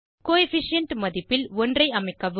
co efficient மதிப்பில் 1 ஐ அமைக்கவும்